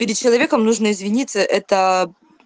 перед человеком нужно извиниться это